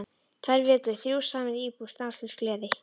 Tvær vikur, þrjú saman í íbúð, stanslaus gleði.